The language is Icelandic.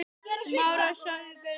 Gott að hlíta hans ráðum.